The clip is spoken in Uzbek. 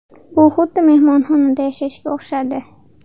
Bu xuddi mehmonxonada yashashga o‘xshadi”.